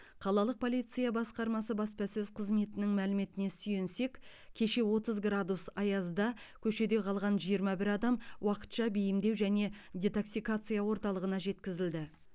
қалалық полиция басқармасы баспасөз қызметінің мәліметіне сүйенсек кеше отыз градус аязда көшеде қалған жиырма бір адам уақытша бейімдеу және детоксикация орталығына жеткізілді